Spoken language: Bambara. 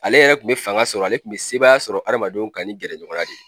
Ale yɛrɛ kun bɛ fanga sɔrɔ ale kun bɛ sebaaya sɔrɔ adamadenw kan ni gɛrɛ ɲɔgɔn ya de ye.